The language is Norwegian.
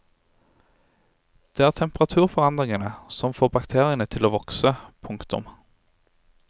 Det er temperaturforandringene som får bakteriene til å vokse. punktum